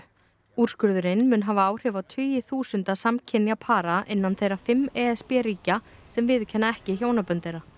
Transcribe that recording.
úrskurðurinn mun hafa áhrif á tugi þúsunda samkynja para innan þeirra fimm e s b ríkja sem viðurkenna ekki hjónabönd þeirra